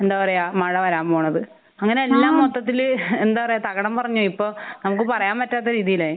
എന്താ പറയാ മഴ വരാൻ പോണത്. ആഹ് അങ്ങനെ എല്ലാം മൊത്തത്തില് എന്താ പറയാ തകിടം മറിഞ്ഞു. ഇപ്പൊ നമുക്ക് പറയാൻ പറ്റാത്ത രീതിയിലായി.